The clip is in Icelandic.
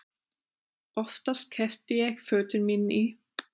Oftast keypti ég fötin mín í